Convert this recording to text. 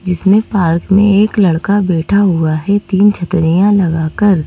इसमें पार्क में एक लड़का बैठा हुआ है तीन छत्रियां लगाकर--